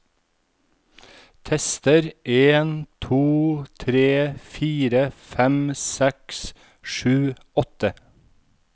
Tester en to tre fire fem seks sju åtte